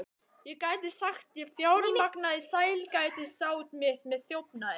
Ég gæti sagt, ég fjármagnaði sælgætisát mitt með þjófnaði.